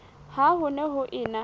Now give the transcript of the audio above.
ha ho ne ho ena